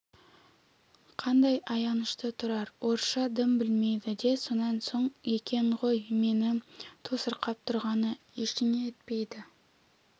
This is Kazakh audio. қандай аянышты тұрар орысша дым білмейді де сонан соң екен ғой мені тосырқап тұрғаны ештеңе етпейді